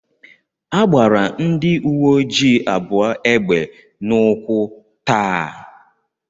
A gbara ndị uwe ojii abụọ egbe n'ụkwụ tàà